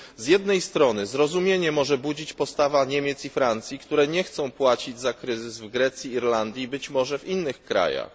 Z jednej strony zrozumiała jest postawa Niemiec i Francji, które nie chcą płacić za kryzys w Grecji, w Irlandii i być może w innych krajach.